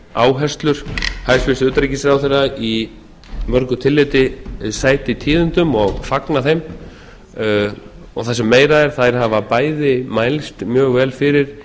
áherslur hæstvirts utanríkisráðherra í mörgu tilliti sæti tíðindum og fagna þeim og það sem meira er þær hafa bæði mælst mjög vel fyrir